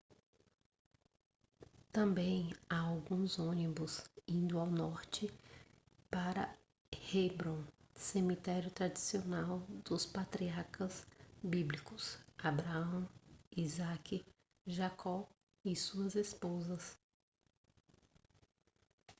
também há alguns ônibus indo ao norte para hebrom cemitério tradicional dos patriarcas bíblicos abraão isaque jacó e suas esposas